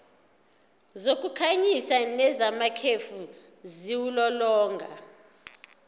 zokukhanyisa nezamakhefu ziwulolonga